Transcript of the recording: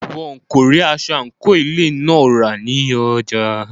Wọn kò rí aṣọ àńkò ilé ìwé náà rà ní ọjà.